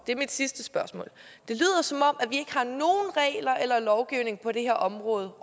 det er mit sidste spørgsmål har nogen regler eller lovgivning på det her område